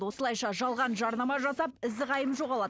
осылайша жалған жарнама жасап ізі қайым жоғалады